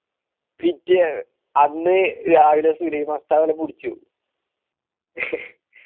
അന്ന് രാവിലെ ഒരു സുലൈമാൻ കുടിച്ചു